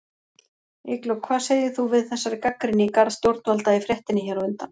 Eygló, hvað segir þú við þessari gagnrýni í garð stjórnvalda í fréttinni hér á undan?